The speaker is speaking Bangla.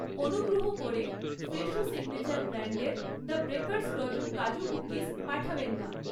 অনুগ্রহ করে ফ্রেশো সিগনেচার ব্র্যান্ডের the baker's dozen kaju cookies পাঠাবেন না।